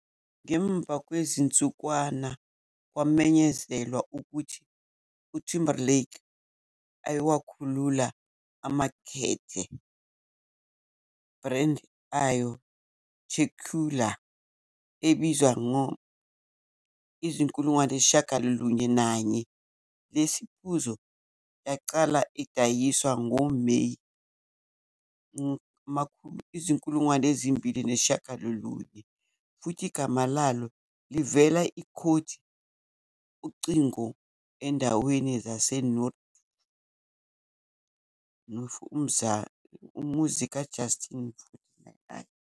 Ngemva kwezinsukwana, kwamenyezelwa ukuthi Timberlake ayeyowakhulula emakethe brand ayo tequila esibizwa 901. Lesi siphuzo yaqala edayiswa ngo-May 2009 futhi igama lalo livela ikhodi ucingo endaweni zaseNofi, umuzi ka-Justin.49